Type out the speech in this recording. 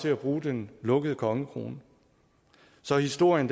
til at bruge den lukkede kongekrone så historien